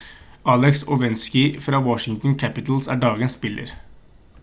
alex ovechkin fra washington capitals er dagens spiller